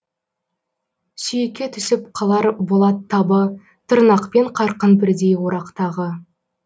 сүйекке түсіп қалар болат табы тырнақпен қарқын бірдей орақтағы